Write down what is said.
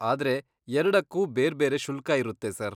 ಆದ್ರೆ ಎರ್ಡಕ್ಕೂ ಬೇರ್ಬೇರೆ ಶುಲ್ಕ ಇರುತ್ತೆ ಸರ್.